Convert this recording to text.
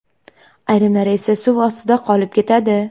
Ayrimlari esa suv ostida qolib ketadi.